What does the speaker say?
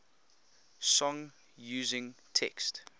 song using text